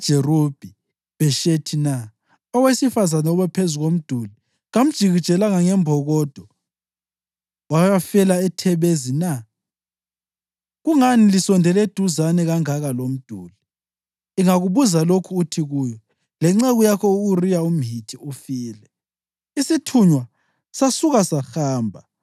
Ngubani obulele u-Abhimelekhi indodana kaJerubhi-Bheshethi na? Owesifazane obephezu komduli kamjikijelanga ngembokodo, wayafela eThebhezi na? Kungani lisondele eduzane kangaka lomduli?’ Ingakubuza lokhu, uthi kuyo, ‘Lenceku yakho u-Uriya umHithi ifile.’ ”